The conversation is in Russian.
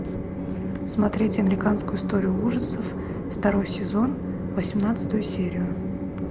смотреть американскую историю ужасов второй сезон восемнадцатую серию